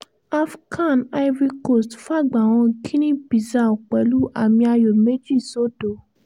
afcan ivory coast fàgbà han guinea-bissau pẹ̀lú àmì ayò méjì sódò